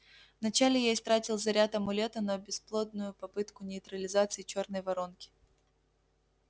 вначале я истратил заряд амулета на бесплодную попытку нейтрализации чёрной воронки